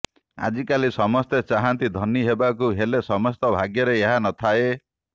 ଆଜିକାଲି ସମସ୍ତେ ଚାହନ୍ତି ଧନୀ ହେବାକୁ ହେଲେ ସମସ୍ତଙ୍କ ଭାଗ୍ୟରେ ଏହା ନଥାଏ